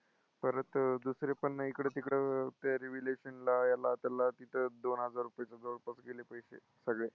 परत दुसरे पण ना हिकडं-तिकडं ते revaluation ला ह्याला-त्याला तिथं दोनहजार रुपयेचे जवळपास गेले पैसे सगळे.